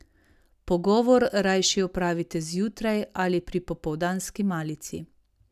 Pogovor rajši opravite zjutraj ali pri popoldanski malici.